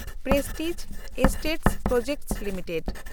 prestige estates projects limited